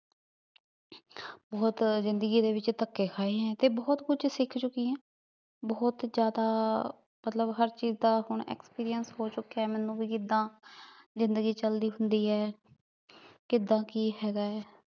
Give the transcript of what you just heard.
ਬੋਹਤ ਜ਼ਿੰਦਗੀ ਦੇ ਵਿਚ ਤਕੇ ਖਾਏ ਹੈ ਤੇ ਬਹੁਤ ਕੁਛ ਸਿਖ ਚੁਕੀ ਆਂ ਬੋਹਤ ਜ਼੍ਯਾਦਾ ਮਤਲਬ ਹਰ ਚੀਜ਼ ਦਾ ਐਕਸਪਿਰੰਸ ਹੋ ਚੁੱਕਿਆ ਹੈ ਮੇਨੂ ਕਿੱਦਾਂ ਜ਼ਿੰਦਗੀ ਚਲਦੀ ਹੁੰਦੀ ਆਯ ਕਿਦਾਂ ਕੀ ਹੇਗਾ ਆਯ